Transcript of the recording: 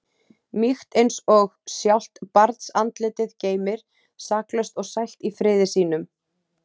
Mýkt eins og sjálft barnsandlitið geymir, saklaust og sælt í friði sínum.